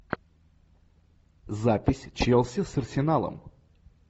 запись челси с арсеналом